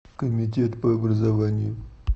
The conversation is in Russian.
комитет по образованию